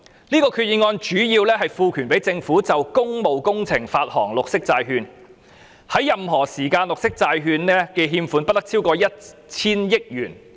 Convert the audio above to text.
這項決議案主要是賦權政府就工務工程發行綠色債券，在任何時間綠色債券的欠款不得超過 1,000 億元。